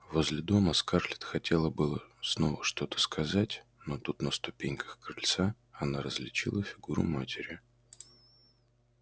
возле дома скарлетт хотела было снова что-то сказать но тут на ступеньках крыльца она различила фигуру матери